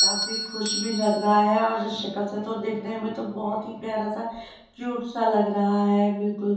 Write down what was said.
काफी खुश भी लग रहा है और शक्ल से तो देखने में तो बहुत ही प्यारा सा क्यूट सा लग रहा है बिल्कुल --